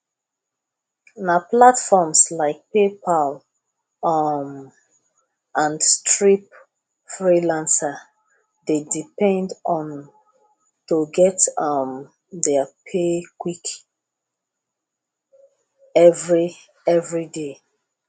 na platforms like paypal um and stripe freelancers dey depend on to get um their pay quick every every day